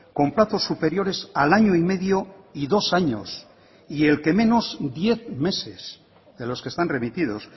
con plazos superiores al año y medio y dos años y el que menos diez meses de los que están remitidos